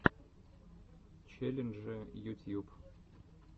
челленджи ютьюб